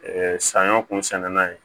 saɲɔ kun sɛnɛni na ye